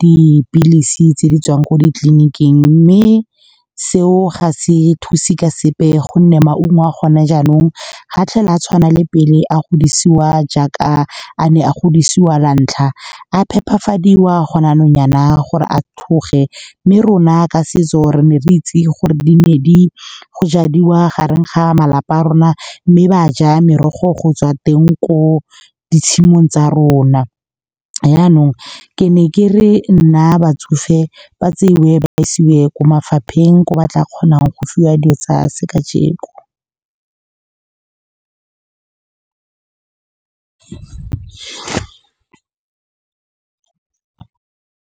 dipilisi tse di tswang ko ditleliniking. Mme seo ga se thuse ka sepe, gonne maungo a gone jaanong ga tlhole a tshwana le pele a go dirisiwa jaaka a ne a godisiwa la ntlha, a phepafadiwa go ne yanong yana gore a tlhoge. Mme rona ka setso re ne re itse gore di ne di jadiwa gareng ga malapa a rona, mme baja merogo go tswa teng ko ditshimong tsa rona. Yanong ke ne ke re nna batsofe ba tseiwe ba isiwe ko mafapheng ko ba tla kgonang go fiwa dilo tsa se kajeko.